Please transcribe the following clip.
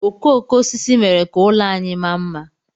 Okooko osisi mere ka ụlọ anyị maa mma.